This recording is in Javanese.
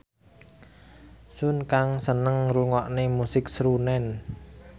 Sun Kang seneng ngrungokne musik srunen